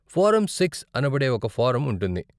Form six అనబడే ఒక form ఉంటుంది.